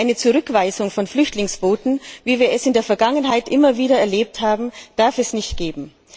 Eine Zurückweisung von Flüchtlingsbooten, wie wir es in der Vergangenheit immer wieder erlebt haben, darf es nicht geben.